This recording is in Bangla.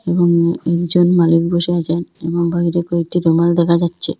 এবং একজন মালিক বসে আছেন এবং বাইরে কয়েকটি রুমাল দেখা যাচ্চে।